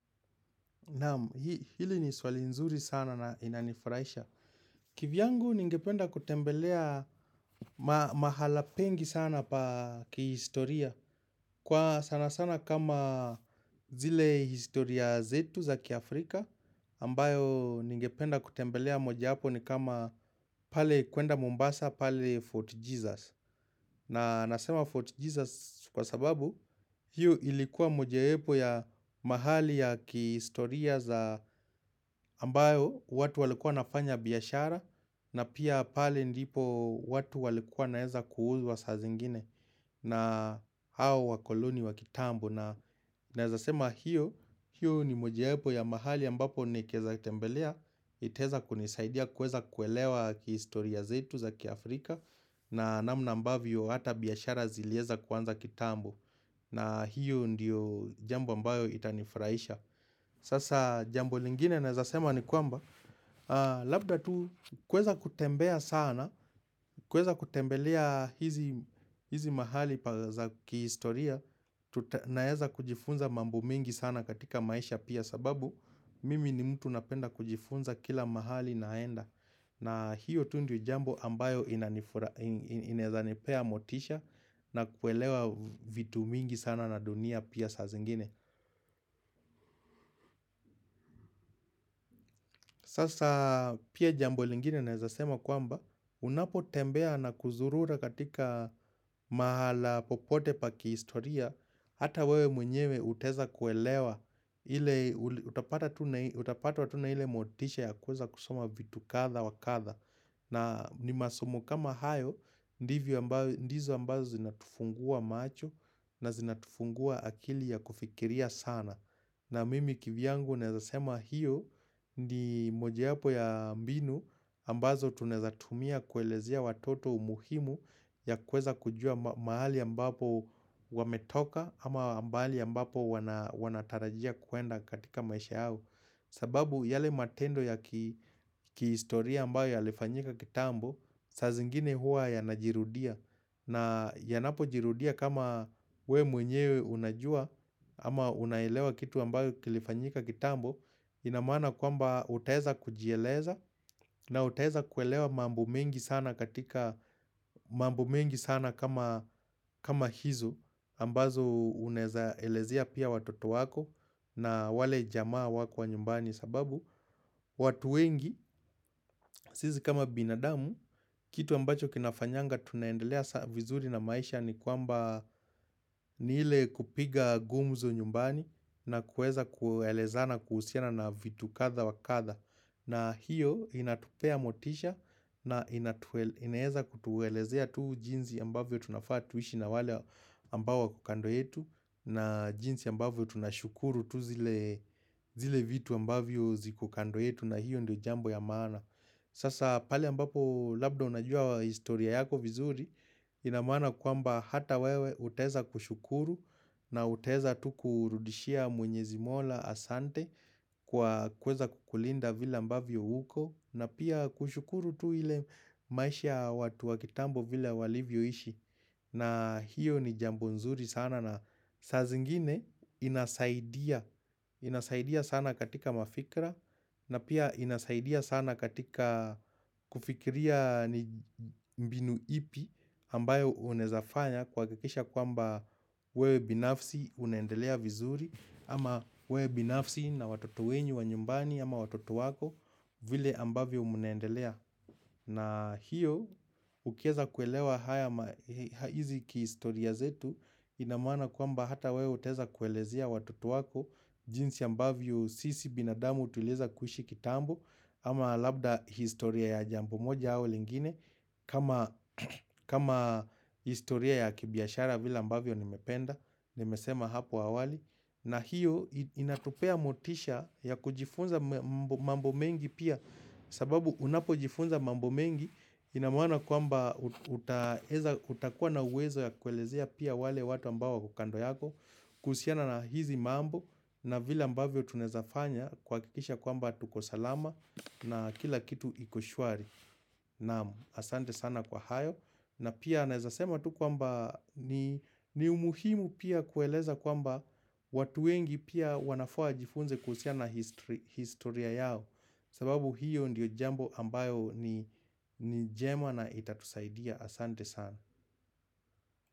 Hili ni swali nzuri sana na inanifurahisha. Kivyangu ningependa kutembelea mahala pengi sana pa kihistoria. Kwa sana sana kama zile historia zetu za kia Afrika ambayo ningependa kutembelea moja wapo ni kama pale kwenda Mombasa, pale Fort Jesus. Na nasema Fort Jesus kwa sababu hii ilikuwa mojawapo ya mahali ya kistoria za ambayo watu walikuwa wanafanya biashara na pia pale ndipo watu walikuwa wanaeza kuhuzwa saa zingine na hao wakoloni wa kitambo. Naeza sema hiyo ni moja wapo ya mahali ambapo nikeza tembelea iteza kunisaidia kueza kuelewa historia zetu za kia Afrika na namna mbavyo hata biashara zilieza kwanza kitambo na hiyo ndiyo jambo ambayo itanifraisha Sasa jambo lingine naeza sema ni kwamba Labda tu kueza kutembea sana kueza kutembelea hizi mahali pa za kihistoria Naeza kujifunza mambo mingi sana katika maisha pia sababu Mimi ni mtu napenda kujifunza kila mahali naenda na hiyo tu ndo jambo ambayo inezanipea motisha Nakuelewa vitu mingi sana na dunia pia sa zingine Sasa pia jambo lingine naeza sema kwamba Unapotembea na kuzurura katika mahala popote pa kihistoria Hata wewe mwenyewe uteza kuelewa, utapatwa tu na ile motisha ya kuweza kusoma vitu kadha wa kadha na ni masomo kama hayo, ndizo ambazo zinatufungua macho na zinatufungua akili ya kufikiria sana na mimi kivyangu neza sema hiyo ni mojaapo ya mbinu ambazo tuneza tumia kuelezea watoto umuhimu ya kuweza kujua mahali ambapo wametoka ama mahali ambapo wanatarajia kwenda katika maisha yao. Sababu yale matendo ya kiistoria ambayo yalifanyika kitambo saa zingine hua yanajirudia na yanapojirudia kama wewe mwenyewe unajua ama unaelewa kitu ambayo kilifanyika kitambo ina maana kwamba utaeza kujieleza na utaeza kuelewa mambo mengi sana katika mambo mengi sana kama hizo ambazo unezaelezia pia watoto wako na wale jamaa wako wa nyumbani sababu watu wengi sisi kama binadamu kitu ambacho kinafanyanga tunaendelea vizuri na maisha ni kwamba ni ile kupiga gumzo nyumbani na kueza kuelezana kuhusiana na vitu kadha wa kadha na hiyo inatupea motisha na inaeza kutuelezea tuu jinsi ambavyo tunafaa tuishi na wale ambao wako kando yetu na jinsi ambavyo tunashukuru tu zile vitu ambavyo zikukando yetu na hiyo ndio jambo ya maana Sasa pali ambapo labda unajua historia yako vizuri Inamana kwamba hata wewe uteza kushukuru na uteza tu kurudishia mwenyezi mola asante Kwa kuweza kukulinda vile ambavyo uko na pia kushukuru tu ile maisha watu wa kitambo vile walivyoishi na hiyo ni jambo nzuri sana na saa zingine inasaidia sana katika mafikira na pia inasaidia sana katika kufikiria mbinu ipi ambayo unezafanya kuhakakisha kwamba wewe binafsi unendelea vizuri ama wewe binafsi na watoto wenyu wa nyumbani ama watoto wako vile ambavyo munaendelea. Na hiyo ukieza kuelewa hizi kihistoria zetu ina maana kwamba hata wewe utaeza kuelezea watoto wako jinsi ambavyo sisi binadamu tulieza kuishi kitambo ama labda historia ya jambo moja au lingine kama historia ya kibiashara vile ambavyo nimependa nimesema hapo awali na hiyo inatupea motisha ya kujifunza mambo mengi pia sababu unapojifunza mambo mengi ina maana kwamba utakuwa na uwezo ya kuelezea pia wale watu ambao wako kando yako kuhusiana na hizi mambo na vile ambavyo tunaezafanya kuhakikisha kwamba tuko salama na kila kitu iko shwari naam asante sana kwa hayo na pia naeza sema tu kwamba ni umuhimu pia kueleza kwamba watu wengi pia wanafaa wajifunze kuhusiana na historia yao sababu hiyo ndiyo jambo ambayo ni jema na itatusaidia asante sana.